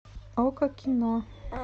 окко кино